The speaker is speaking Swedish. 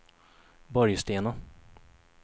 Borgstena